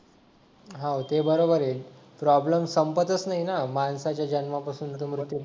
हा हो ते बरोबर आहे प्रॉब्लेम संपतच नाही ना माणसाच्या जन्मापासून ते मृत्यूपर्यंत